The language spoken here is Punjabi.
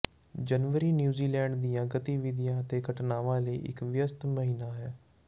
ਜਨਵਰੀ ਨਿਊਜੀਲੈਂਡ ਦੀਆਂ ਗਤੀਵਿਧੀਆਂ ਅਤੇ ਘਟਨਾਵਾਂ ਲਈ ਇੱਕ ਵਿਅਸਤ ਮਹੀਨਾ ਹੈ